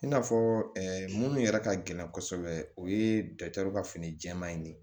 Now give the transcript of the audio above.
I n'a fɔ minnu yɛrɛ ka gɛlɛn kosɛbɛ o ye ka fini jɛma in ne